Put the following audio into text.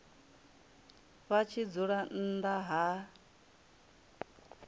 vha tshi dzula nnḓa ha